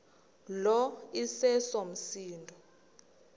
lo iseso msindo